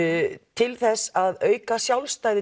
til þess að auka sjálfstæði